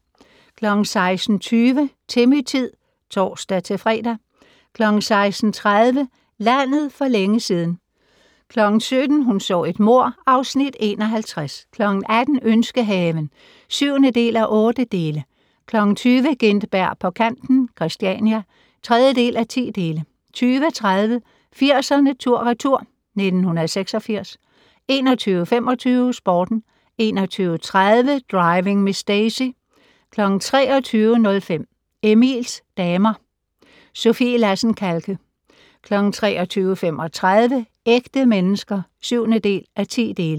16:20: Timmy-tid (tor-fre) 16:30: Landet for længe siden 17:00: Hun så et mord (Afs. 51) 18:00: Ønskehaven (7:8) 20:00: Gintberg på kanten - Christiania (3:10) 20:30: 80'erne tur/retur: 1986 21:25: Sporten 21:30: Driving Miss Daisy 23:05: Emils damer - Sofie Lassen-Kahlke 23:35: Ægte mennesker (7:10)